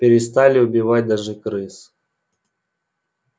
перестали убивать даже крыс